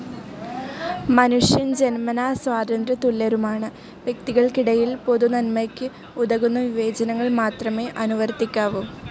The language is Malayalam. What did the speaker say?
മനുഷ്യൻ ജന്മനാ സ്വാതന്ത്ര്യ തുല്യരുമാണ്. വ്യക്തികൾക്കിടയിൽ പൊതുനൻമയ്ക്ക് ഉതകുന്ന വിവേചനങ്ങൾ മാത്രമേ അനുവർത്തിക്കാവൂ.